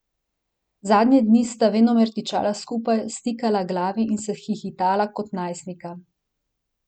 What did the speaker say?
Zadnje dni sta venomer tičala skupaj, stikala glavi in se hihitala kot najstnika.